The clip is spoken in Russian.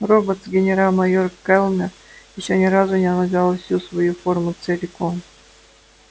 роботс генерал-майор кэллнер ещё ни разу не надевал всю свою форму целиком